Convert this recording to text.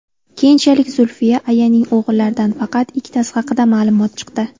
Keyinchalik Zulfiya ayaning o‘g‘illaridan faqat ikkitasi haqida ma’lumot chiqdi.